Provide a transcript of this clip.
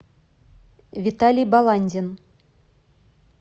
виталий баландин